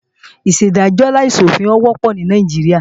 Ìṣèdájọ́ láìsòfin wọ́pọ̀ ní Nàìjíríà